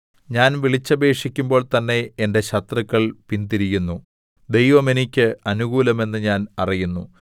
ഞാൻ വിളിച്ചപേക്ഷിക്കുമ്പോൾ തന്നെ എന്റെ ശത്രുക്കൾ പിന്തിരിയുന്നു ദൈവം എനിക്ക് അനുകൂലമെന്ന് ഞാൻ അറിയുന്നു